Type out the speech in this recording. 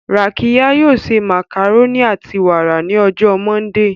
Rakiya yoo se macaroni ati wara ni ọjọ Mọndee.